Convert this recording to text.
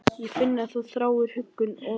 Ég finn að hún þráir huggun og fyrirgefningu.